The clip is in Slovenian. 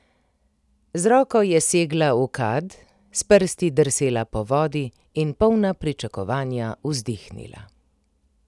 Z roko je segla v kad, s prsti drsela po vodi in polna pričakovanja vzdihnila.